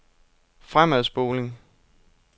fremadspoling